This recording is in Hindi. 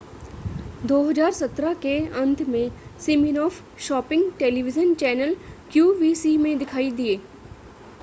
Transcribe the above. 2017 के अंत में Siminoff shopping television channel qvc में दिखाई दिए